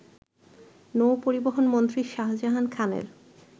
নৌপরিবহনমন্ত্রী শাহজাহান খানের